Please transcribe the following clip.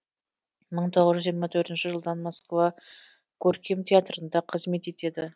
мың тоғыз жүз жиырма жетінші жылдан москва көркем театрында қызмет етеді